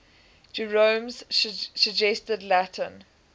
jerome's suggested latin